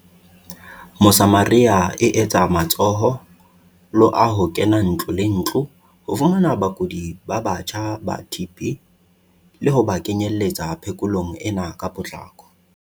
Mosamaria e etsa matsho lo a ho kena ntlo le ntlo ho fumana bakudi ba batjha ba TB le ho ba kenyeletsa phe kolong ena ka potlako.